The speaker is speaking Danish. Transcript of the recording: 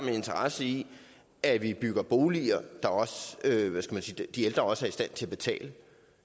en interesse i at vi bygger boliger de ældre også er i stand til at betale